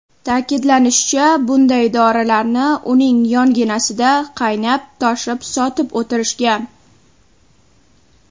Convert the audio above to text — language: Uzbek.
Ta’kidlanishicha, bunday dorilarni uning yonginasida qaynab-toshib sotib o‘tirishgan.